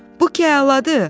Bu ki əladır!